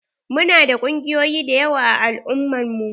Mu na da ƙungiyoyi da yawa a al'umman mu.